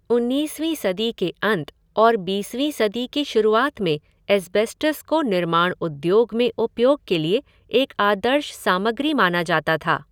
उन्नीसवीं सदी के अंत और बीसवीं सदी की शुरुआत में एस्बेस्टॉस को निर्माण उद्योग में उपयोग के लिए एक आदर्श सामग्री माना जाता था।